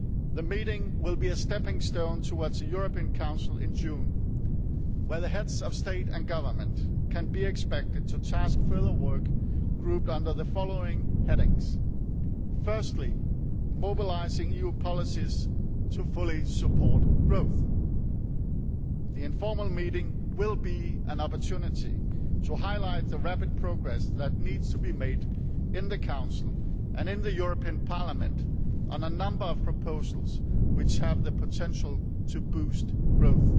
The meeting will be a stepping stone towards the European Council in June where the Heads of State and Government can be expected to task further work grouped under the following headings Firstly, mobilising new policies to fully support growth the informal meeting will be an opportunity to highlight the rapid progress which needs to be made in the Council and in the European Parliament on a number of proposals which have the potential to boost growth.